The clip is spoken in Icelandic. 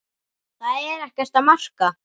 Það er ekkert að marka.